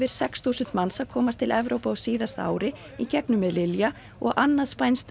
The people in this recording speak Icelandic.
sex þúsund manns að komast til Evrópu á síðasta ári í gegnum og annað spænskt